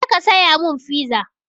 Je ka saya mun fiza!